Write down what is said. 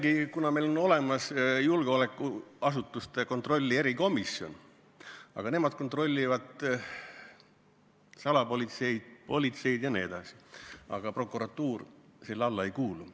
Meil on küll olemas julgeolekuasutuste järelevalve erikomisjon, aga nemad kontrollivad salapolitseid ja muud politseid jne, prokuratuur selle alla ei kuulu.